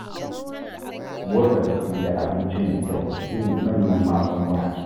Motsa jiki da abinci mai kyau su ne manyan magunguna.